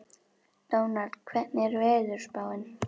Dónald, hvernig er veðurspáin?